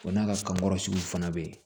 Wa n'a ka kankɔrɔ sugu fana bɛ yen